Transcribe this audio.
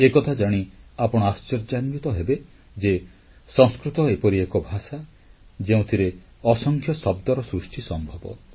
ଏକଥା ଜାଣି ଆପଣ ଆଶ୍ଚର୍ଯ୍ୟାନ୍ୱିତ ହେବେ ଯେ ସଂସ୍କୃତ ଏପରି ଏକ ଭାଷା ଯେଉଁଥିରେ ଅସଂଖ୍ୟ ଶବ୍ଦର ସୃଷ୍ଟି ସମ୍ଭବ